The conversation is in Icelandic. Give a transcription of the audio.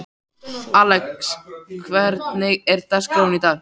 Alex, hvernig er dagskráin í dag?